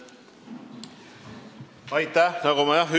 Aitäh!